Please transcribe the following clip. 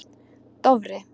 Dofri